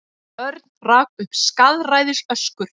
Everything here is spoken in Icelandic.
Örn rak upp skaðræðisöskur.